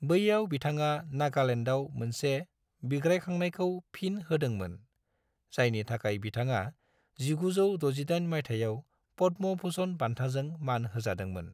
बैयाव बिथाङा नागालेन्डाव मोनसे बिग्रायखांनायखौ फिन होदोंमोन, जायनि थाखाय बिथाङा 1968 माइथायाव पद्म भूषण बान्थाजों मान होजादोंमोन।